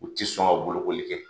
U ti sɔn ka bolokoli kɛ.